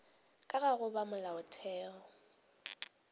ka ga go ba molaotheong